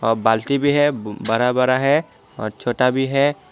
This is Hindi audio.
और बाल्टी भी है बड़ा बड़ा है और छोटा भी है।